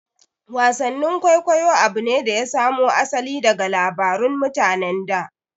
Wasan kwaikwayo abu ne da ya samo asali daga labarun mutanen da